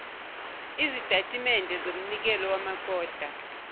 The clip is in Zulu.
izitatimende zomnikelo wamakota